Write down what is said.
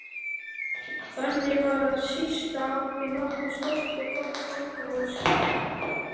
Þannig var að sýslan átti nokkuð stórt og gott fangahús.